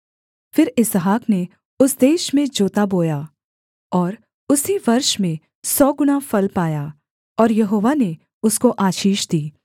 फिर इसहाक ने उस देश में जोता बोया और उसी वर्ष में सौ गुणा फल पाया और यहोवा ने उसको आशीष दी